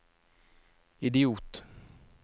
idiot